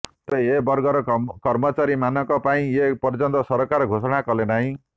ତେବେ ଏ ବର୍ଗର କର୍ମଚାରୀମାନଙ୍କ ପାଇଁ ଏ ପର୍ଯ୍ୟନ୍ତ ସରକାର ଘୋଷଣା କଲେ ନାହିଁ